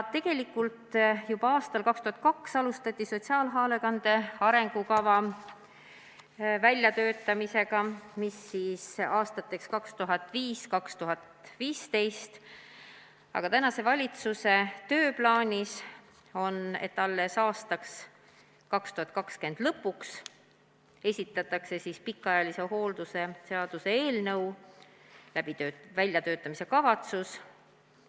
Tegelikult alustati juba aastal 2002 sotsiaalhoolekande arengukava väljatöötamist aastateks 2005–2015, aga praeguse valitsuse tööplaanis on, et alles 2022. aasta lõpuks esitatakse pikaajalise hoolduse seaduse eelnõu väljatöötamiskavatsus.